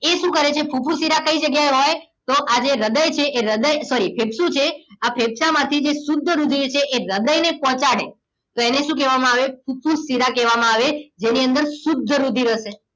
એ શું કરે છે ફુફુસ શિરા કઈ જગ્યાએ હોય તો આ જે હૃદય છે એ હૃદય sorry ફેફસુ છે એ ફેફસાંમાંથી જે શુદ્ધ રુધિર છે એ હૃદયને પહોંચાડે તો એને શું કહેવામાં આવે ફૂફૂસ શિરા કહેવામાં આવે જેની અંદર શુદ્ધ રુધિર હશે